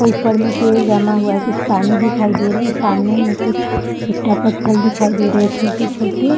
और ऊपर मे पेड़ जमा हुआ है | कुछ पानी दिखाई दे रहे हैं | सामने मे कुछ ईटा पत्थर दिखाई दे रहे हैं छोटे छोटे --